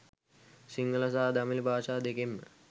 සිංහල සහ දමිල භාෂා දෙකෙන්ම